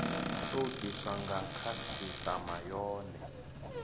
tou diswa nga khasitama yone